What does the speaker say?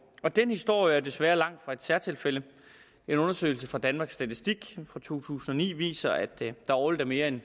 den historie er desværre langtfra et særtilfælde en undersøgelse fra danmarks statistik fra to tusind og ni viser at der årligt er mere end